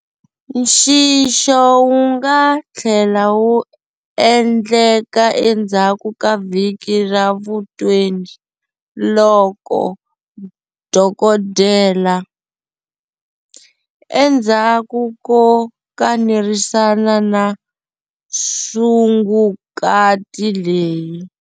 Nxixo wu nga tlhela wu endleka endzhaku ka vhiki ra vu20 loko dokodela, endzhaku ko kanerisana na sungukati leyi.